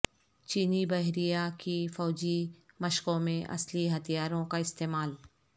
چینی بحریہ کی فوجی مشقوں میں اصلی ہتھیاروں کا استعمال